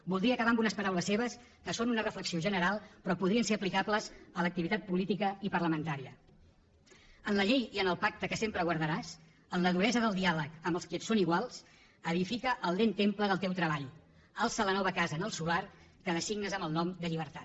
voldria acabar amb unes paraules seves que són una reflexió general però que podrien ser aplicables a l’activitat política i parlamentària en la llei i en el pacte que sempre guardaràs en la duresa del diàleg amb els qui et són iguals edifica el lent temple del teu treball alça la nova casa en el solar que designes amb el nom de llibertat